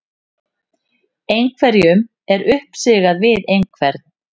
Einhverjum er uppsigað við einhvern